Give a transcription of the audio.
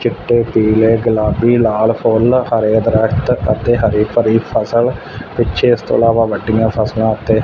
ਚਿੱਟੇ ਪੀਲੇ ਗੁਲਾਬੀ ਲਾਲ ਫੁੱਲ ਹਰੇ ਦਰਖਤ ਅਤੇ ਹਰੀ ਭਰੀ ਫ਼ਸਲ ਪਿੱਛੇ ਇਸਤੋਂ ਇਲਾਵਾ ਵੱਡੀਆਂ ਫਸਲਾਂ ਅਤੇ--